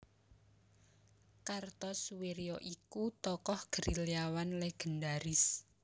Kartosoewirjo iku tokoh gerilyawan legendaris